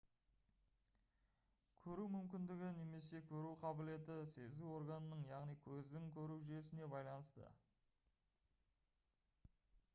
көру мүмкіндігі немесе көру қабілеті сезу органының яғни көздің көру жүйесіне байланысты